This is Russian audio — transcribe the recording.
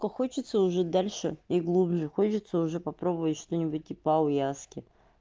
то хочется уже дальше и глубже хочется уже попробую что-нибудь типа аяуяски